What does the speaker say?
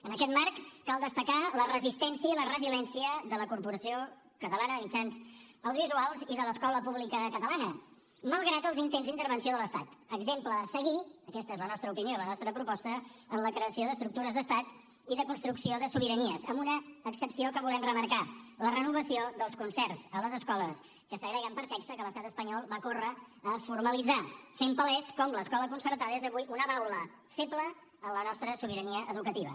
en aquest marc cal destacar la resistència i la resiliència de la corporació catalana de mitjans audiovisuals i de l’escola pública catalana malgrat els intents d’intervenció de l’estat exemple a seguir aquesta és la nostra opinió i la nostra proposta en la creació d’estructures d’estat i de construcció de sobiranies amb una excepció que volem remarcar la renovació dels concerts a les escoles que segreguen per sexe que l’estat espanyol va córrer a formalitzar fent palès com l’escola concertada és avui una baula feble en la nostra sobirania educativa